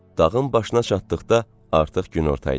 Dağın başına çatdıqda artıq günorta idi.